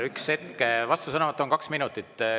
Üks hetk, vastusõnavõtt on kaks minutit.